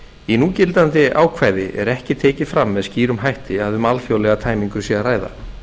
í núgildandi ákvæði er ekki tekið fram með skýrum hætti að um alþjóðlega tæmingu sé að ræða